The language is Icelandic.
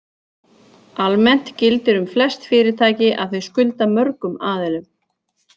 Almennt gildir um flest fyrirtæki að þau skulda mörgum aðilum.